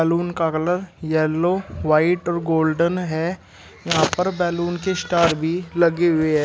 का colour yellow white और golden है यहां पर बैलून के स्टार भी लगी हुई है।